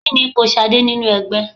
Kí ni ipò Ṣadé nínú ẹgbẹ́?